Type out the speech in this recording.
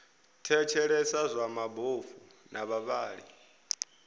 thetshelesa zwa mabofu na vhavhali